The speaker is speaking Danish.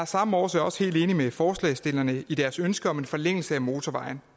samme årsag også helt enig med forslagsstillerne i deres ønske om en forlængelse af motorvejen